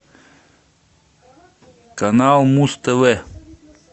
канал муз тв